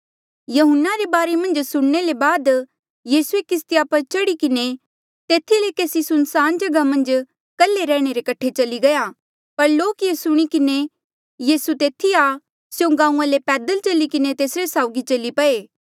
यहून्ना रे बारे मन्झ सुणने ले बाद यीसूए किस्तिया पर चढ़ी किन्हें तेथी ले केसी सुनसान जगहा मन्झ कल्हे रैहणे रे कठे चली गया पर लोक ये सुणी किन्हें यीसू तेथी आ स्यों गांऊँआं ले पैदल चली किन्हें तेसरे साउगी चली पये